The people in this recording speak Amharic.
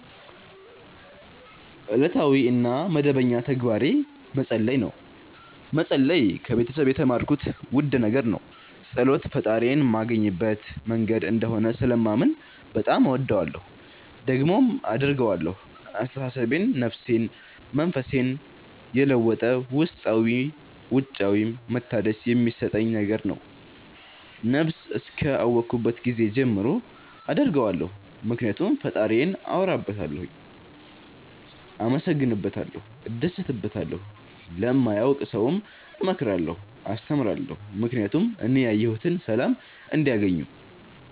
እለታዊ እና መደበኛ ተግባሬ መፀለይ ነው። መፀለይ ከቤተሰብ የተማርኩት ውድ ነገር ነው። ፀሎት ፈጣሪዬን ማገኝበት መንገድ እንደሆነ ስለማምን በጣም እወደዋለሁ። ደግሞም አደርገዋለሁ አስተሳሰቤን፣ ነፍሴን፣ መንፈሴን የለወጠ ውስጣዊም ውጫዊም መታደስ የሚሠጠኝ ነገር ነው። ነብስ እስከ አወኩባት ጊዜ ጀምሮ አደርገዋለሁ ምክኒያቱም ፈጣሪዬን አወራበታለሁ፣ አመሠግንበታለሁ፣ እደሠትበታለሁ። ለማያውቅ ሠውም እመክራለሁ አስተምራለሁ ምክኒያቱም እኔ ያየሁትን ሠላም እንዲያገኙ